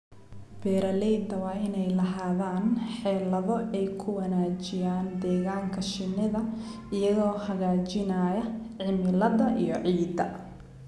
Beeralayda waa inay lahaadaan xeelado ay ku wanaajiyaan deegaanka shinnida iyagoo hagaajinaya cimilada iyo ciidda.